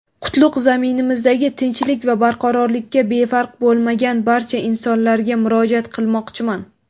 qutlug‘ zaminimizdagi tinchlik va barqarorlikka befarq bo‘lmagan barcha insonlarga murojaat qilmoqchiman.